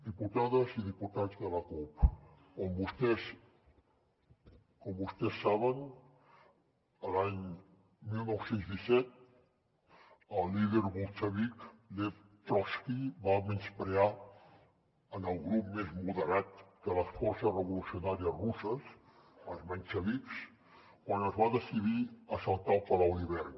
diputades i diputats de la cup com vostès saben l’any dinou deu set el líder bolxevic lev trotski va menysprear el grup més moderat de les forces revolucionàries russes els menxevics quan es va decidir assaltar el palau d’hivern